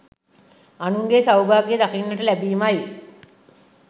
අනුන්ගේ සෞභාග්‍යය දකින්නට ලැබීම යි.